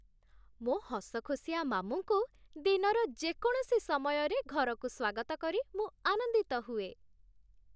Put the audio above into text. ମୋ ହସଖୁସିଆ ମାମୁଁଙ୍କୁ ଦିନର ଯେକୌଣସି ସମୟରେ ଘରକୁ ସ୍ୱାଗତ କରି ମୁଁ ଆନନ୍ଦିତ ହୁଏ।